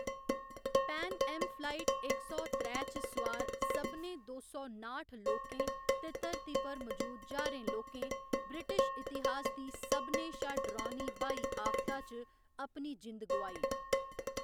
Pan Am flight इक सौ त्रै च सुआर सभनें दो सौ नाठ लोकें ते धरती पर मजूद ज्हारें लोकें ब्रिटिश इतिहास दी सभनें शा डरौनी ब्हाई आफता च अपनी जिंद गोआई।